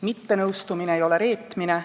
Mittenõustumine ei ole reetmine.